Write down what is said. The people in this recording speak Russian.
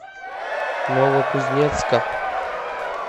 новокузнецка